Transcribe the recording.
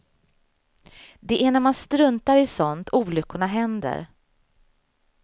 Det är när man struntar i sådant olyckorna händer.